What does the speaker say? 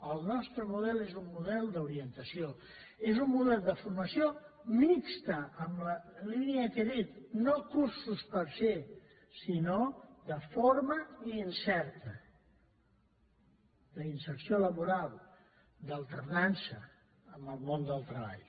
el nostre model és un model d’orientació és un model de formació mixta en la línia que he dit no cursos per se sinó de forma i inserta d’inserció laboral d’alternança en el món del treball